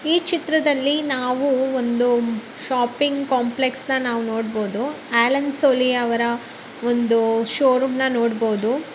ಈ ಚಿತ್ರದಲ್ಲಿ ನಾವು ಒಂದು ಶಾಪಿಂಗ್ ಕಾಂಪ್ಲೆಕ್ಸನ ನಾವು ನೋಡ್ಬೋದು ಆಲ್ಲೆನ್ ಸೊಲಿ ಅವರ ಒಂದು ಶೋ ರೂಮ್ನ ನೋಡ್ಬೋದು.